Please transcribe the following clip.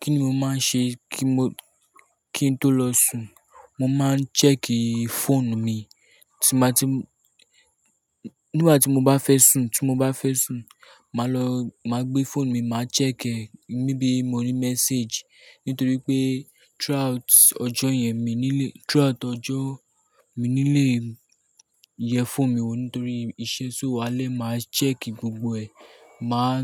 Kí ni o máa ń ṣe kío tó lọ sùn? Mo máa ń check fóònù mi. Nígbà tí mo bá fẹ́ sùn, màá gbé fóònù mi, màá check é maybe mo ní message, nítorí pé throughout ọjọ́ yẹn mi nílé, throughout ọjọ́ mi nílé yẹ fóònù mi wò nítorí iṣẹ́ so alé, màá check gbogbo ẹ̀. Máa